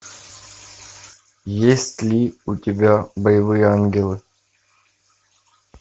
есть ли у тебя боевые ангелы